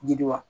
Jidi wa